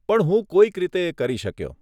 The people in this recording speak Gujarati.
પણ હું કોઈક રીતે એ કરી શક્યો.